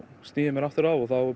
sný ég mér aftur að og þá